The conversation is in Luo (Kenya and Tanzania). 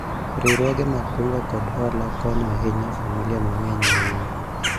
riwruoge mag kungo kod hola konyo ahinya familia mang'eny ahinya